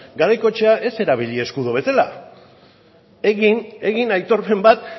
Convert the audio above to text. garaikoetxea ez erabili eskudo bezala egin aitorpen bat